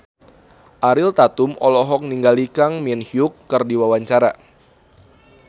Ariel Tatum olohok ningali Kang Min Hyuk keur diwawancara